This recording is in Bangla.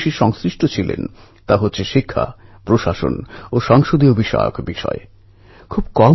পণ্ঢরপুর মহারাষ্ট্রের কোলাপুর জেলার পবিত্র শহর